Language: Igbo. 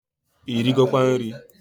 Irigokwa nri?